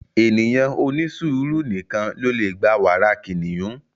Ènìyàn onisuuru nìkàn lo le gbà wàrà kiniyun